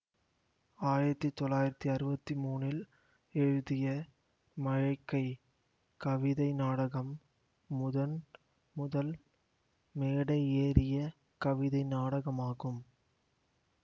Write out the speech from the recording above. ஆயிரத்தி தொள்ளாயிரத்தி அறுவத்தி மூனில் எழுதிய மழைக்கை கவிதை நாடகம் முதன் முதல் மேடை ஏறிய கவிதை நாடகமாகும்